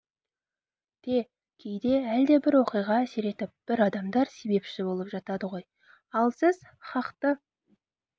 те кейде әлдебір оқиға әсер етіп бір адамдар себепші болып жатады ғой ал сіз хақты